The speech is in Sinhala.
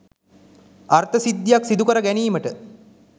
අර්ථ සිද්ධියක් සිදුකර ගැනීමට